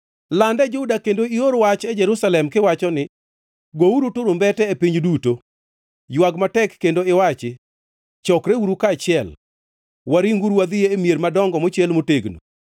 “Land e Juda kendo ior wach e Jerusalem kiwacho ni: ‘Gouru turumbete e piny duto!’ Ywag matek kendo iwachi: ‘Chokreuru kaachiel! Waringuru wadhi e mier madongo mochiel motegno!’